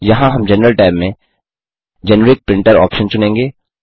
यहां हम general tab में जेनेरिक प्रिंटर ऑप्शन चुनेंगे